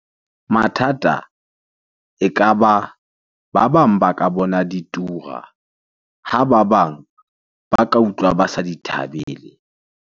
Mathata ekaba, ba bang ba ka bona di tura. Ha ba bang ba ka utlwa ba sa di thabele.